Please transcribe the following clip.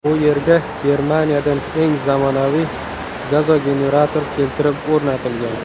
Bu yerga Germaniyadan eng zamonaviy gazogenerator keltirib o‘rnatilgan.